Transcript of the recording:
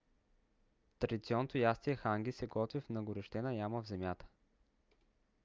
традиционното ястие ханги се готви в нагорещена яма в земята